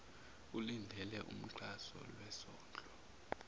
ulindele umxhaso lwesondlo